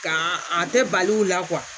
Nka a tɛ bali o la